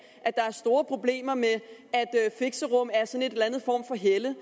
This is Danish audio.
at der er store problemer med at fixerum er sådan en eller anden form for helle